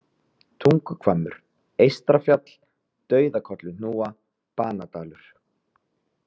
Tunguhvammur, Eystrafjall, Dauðakolluhnúa, Banadalur